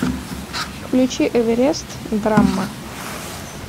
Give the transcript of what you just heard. включи эверест драмма